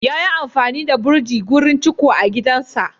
Yayi amfani da burji wurin ciko a gidansa.